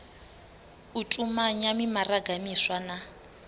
u tumanya mimaraga miswa na